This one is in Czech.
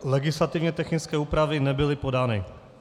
Legislativně technické úpravy nebyly podány.